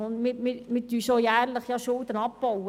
Wir bauen bereits jährlich Schulden ab.